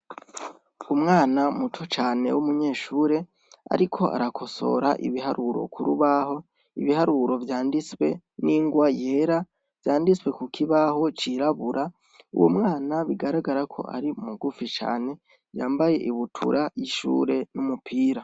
Umwana muto cane w'umunyeshure muto cane ariko arakosora ibiharuro k'urubaho, ibiharuro vyanditswe n'inrwa yera vyanditswe ku kibaho cirabura uwo mwana bigaragara ko ari mugufi cane yambaye ibutura y'ishure n'umupira .